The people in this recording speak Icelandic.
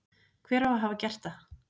Hver á að hafa gert það?